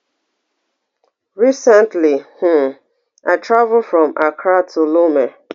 recently um i travel from accra to lome